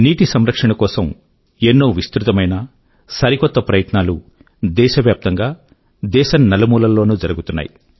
నీటి సంరక్షణ కోసం ఎన్నో విస్తృతమైన సరికొత్త ప్రయత్నాలు దేశవ్యాప్తం గా దేశం నలుమూలల్లోనూ జరుగుతున్నాయి